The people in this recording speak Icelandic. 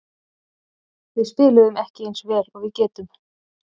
Við spiluðum ekki eins vel og við getum.